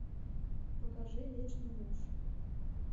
покажи вечный муж